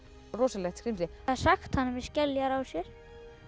rosalegt skrímsli það er sagt með skeljar á sér